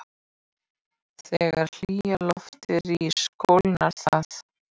Þegar hlýja loftið rís kólnar það.